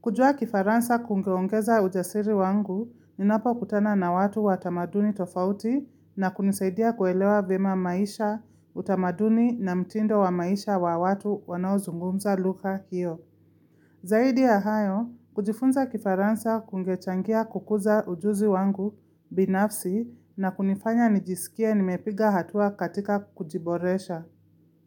Kujua kifaransa kungeongeza ujasiri wangu ninapo kutana na watu wa tamaduni tofauti na kunisaidia kuelewa vema maisha, utamaduni na mtindo wa maisha wa watu wanaozungumza lugha hiyo. Kujifunza kifaransa kungechangia kukuza ujuzi wangu binafsi na kunifanya nijisikie nimepiga hatua katika kujiboresha.